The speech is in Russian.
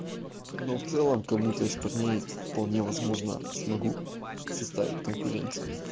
но в целом кому-то из парней вполне возможно смогу составить конкуренцию